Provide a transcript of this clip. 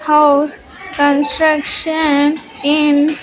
House construction in--